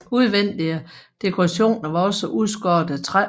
Udvendige dekorationer var også udskåret af træ